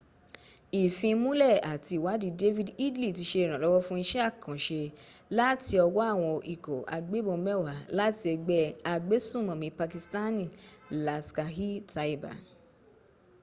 ìfimúnlẹ̀ àti ìwadìí david headley ti se ìrànlọ́wọ́ fún isẹ́ àkànṣe láti ọwọ́ àwọn ikọ̀ agbẹ́bọn mẹwa láti ẹgbẹ́ agbẹ́sùmònmí pakistani laskhar-e-taiba